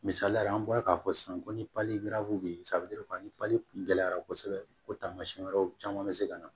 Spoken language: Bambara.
Misaliyala an bɔra k'a fɔ sisan ko ni bɛ ni paliki gɛlɛyara kosɛbɛ o tamasiyɛn wɛrɛw caman be se ka na